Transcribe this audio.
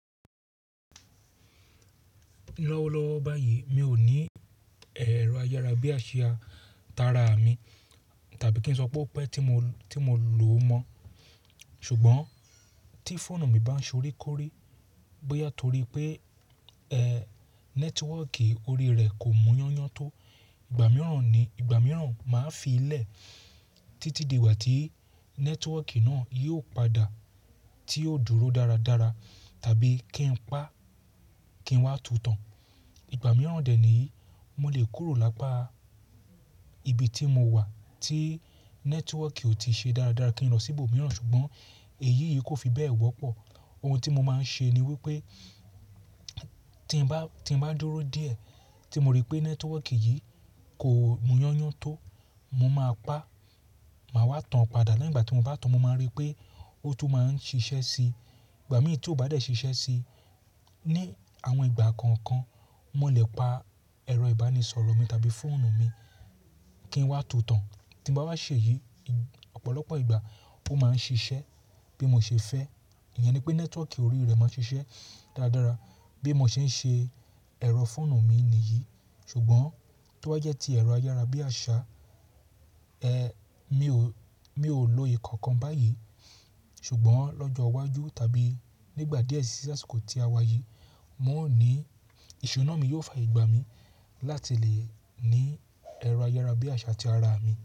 Lọ́wọ́lọ́wọ́ báyìí mi ò ní ẹ̀rọ ayárabíàṣá tara mi tàbí kí n sọ pé o pẹ tí mo, tí mo lò mọ̀. Ṣùgbọ́n tí fóònù mi bá ń ṣorí kórí bóyá torí pé, ẹ, nẹ́tíwọ́kì orí rẹ̀ kò muyáńyáń tó, ìgbà mìíràn ni, ìgbà mìíràn màá fi í lẹ̀ títí di ìgbà tí nẹ́tíwọ́kì náà yóò padà tí ó dúró dáradára tàbí kí n pa, kí n wá tutàn. Ìgbà mìíràn dẹ̀ ni mo lè kúrò lápa ibi tí mo wà tí nẹ́tíwọ́kì ò tí ṣe dáradára kí n lọ sí ibòmíràn ṣùgbọ́n èyí yìí kò fi bẹ́ẹ̀ wọ́pọ̀. Ohun tí mo máa ń ṣe ni wípé tí n bá, tí n bá dúró díẹ̀ tí mo rí pé nẹ́tíwọ́kì yìí kò mọ́yáńyáń tó, mo máa pa, màá wá tan padà. Lẹ́yin ìgbà tí mo bá tan, mo máa rí pé ó tún máa ń ṣiṣẹ́ sí i. Ìgbà mìíràn tí ó bá dẹ̀ ṣiṣẹ́ sí i, ní àwọn ìgbà kọ̀ọ̀kan mó lè pa ẹ̀rọ ìbánisọ̀rọ̀ mi tàbí fóònù mi kí n wá tutàn. Tí mo bá wá ṣe èyí, ọ̀pọ̀lọpọ̀ ìgbà ó máa ń ṣiṣẹ́ bí mo ṣe fẹ́. Ìyẹn ni pé nẹ́tíwọ́kì orí rẹ̀ máa ń ṣiṣẹ́ dáradára bí mo ṣe ń ṣe ẹ̀rọ fóònù mi nìyí. Ṣùgbọ́n tó bá jẹ́ tí ẹ̀rọ ayárabíàṣá, ẹ, mi ò, mi ò lo ìkankan báyìí. Ṣùgbọ́n lọ́jọ́ iwájú tàbí nígbà díẹ̀ sí, sí àsìkò tí a wá yìí, mò ń ní, ìṣúná mi yóò fààyè gbà mí láti lè ní ẹ̀rọ ayárabíàṣá ti ara mi.